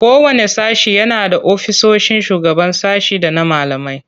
Kowanne sashe yana da ofisoshin shugaban sashe da na malamai.